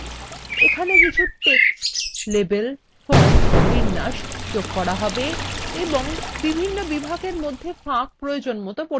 এখানে কিছু text labels fonts বিন্যাস যোগ করা হবে এবং বিভিন্ন বিভাগের মধ্যে ফাঁক প্রয়োজনমত পরিবর্তন করা হবে